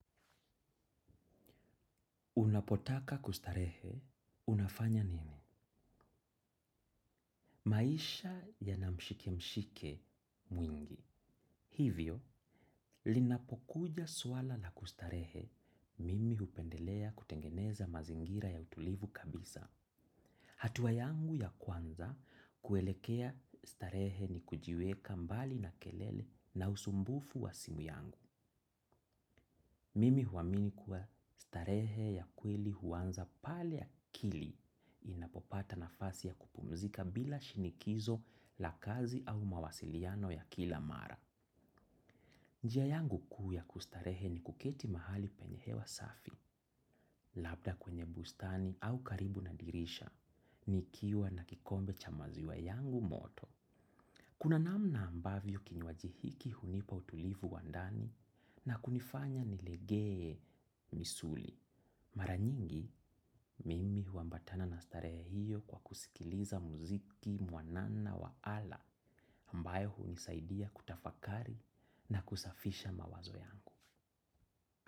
Unapotaka kustarehe, unafanya nini? Maisha yana mshike mshike mwingi. Hivyo, linapokuja swala la kustarehe, mimi hupendelea kutengeneza mazingira ya utulivu kabisa. Hatuwa yangu ya kwanza, kuelekea starehe ni kujiweka mbali na kelele na usumbufu wa simu yangu. Mimi huwamini kuwa starehe ya kweli huanza pale akili inapopata nafasi ya kupumzika bila shinikizo la kazi au mawasiliano ya kila mara. Njia yangu kuu yakustarehe ni kuketi mahali penye hewa safi, labda kwenye bustani au karibu na dirisha, nikiwa na kikombe cha maziwa yangu moto. Kuna namna ambavyo kinywaji hiki hunipa utulivu wandani na kunifanya nilegee misuli. Mara nyingi, mimi huambatana na starehe hiyo kwa kusikiliza muziki, mwanana wa ala, ambayo hunisaidia kutafakari na kusafisha mawazo yangu.